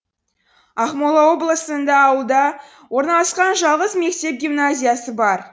ақмола облысында ауылда орналасқан жалғыз мектеп гимназиясы бар